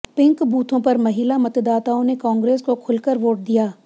pink बूथों पर महिला मतदाताओं ने कांग्रेस को खुलकर वोट दिया